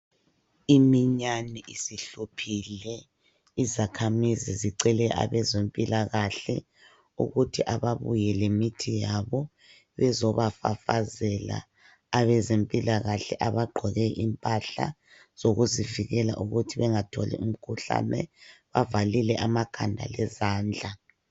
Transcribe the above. Iminyane isihluphile izakhamizi zicele abazempilakahle ukuthi ababuye lemithi yabo ukuthi bezobafafazela. Abezempilakahle abagqoke impahla zokuzivikela ukuthi bangatholi imikhuhlane, bavalile amakhanda lezandla.